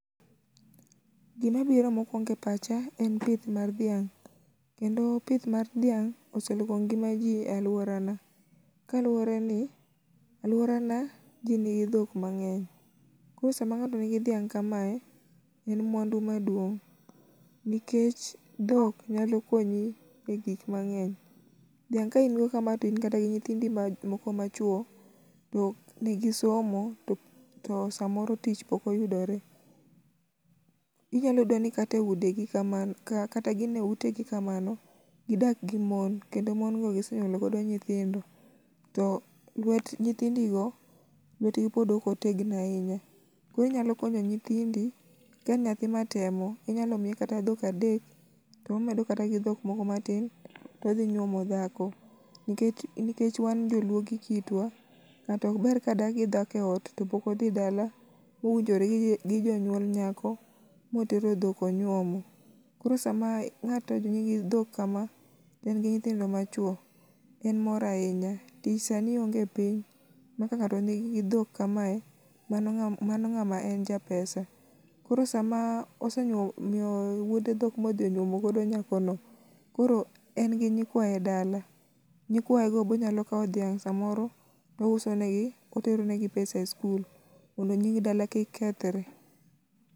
Gima biro mokuongo e pacha en pith mar dhiang', kendo pith mar dhiang' oseloko ngima ji e aluorana. Kaluworeni aluorana ji nigi dhok mangeny, koro sama ng'ato nigi dhok kamae, en mwandu maduong'. Dhiang' ka in go kamae to in kata gi nyithindi moko machuo, to nigi somo to samoo tich pok oyudore, nyalo yudo ni kata eudi gi kamano kata gin eutegi kamano, gidak gi mon kendo mon go gisenyuolo godo nyithindo o lwet lwet nyithindigo pok otegno ahinya, koro inyalo konyo nyithindi ka nyathi matemo, inyalo m,iye kata dhokadek to omedo kata gi moko matin to odhi yuomo dhako nikech wan joluo gi kitwa, ng'ato ok ber kadak gidhako eot to pok odhi dala winjore gi jonyuol nyako ma otero dhok onyuomo. Koro sama ng'ato nigi dhok kama to en gi nyithindo machuo en mor ahinya. Tich sani onge e piny maka ng'ato nii dhok kamae, mano ng'a mano ng'ama en japesa. Koro sama osenyuo osemiyo wuode dhok ma odhi onyuomo godo nyakono, koro en gi nyikwaye dala, nyikwayego be onyalo kawo dhiang' samor to ouso negi to otero negi pesa e sikul mondo nying dala kik kethre.